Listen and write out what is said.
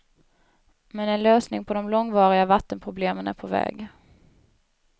Men en lösning på de långvariga vattenproblemen är på väg.